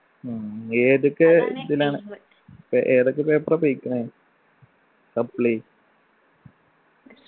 ഉം ഏതൊക്കെ ഇതിലാണ് ഏതൊക്കെ paper ആ പോയിക്ക്ണെ suppli